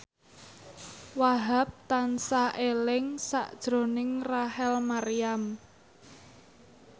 Wahhab tansah eling sakjroning Rachel Maryam